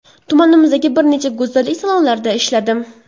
Tumanimizdagi bir nechta go‘zallik salonlarida ishladim.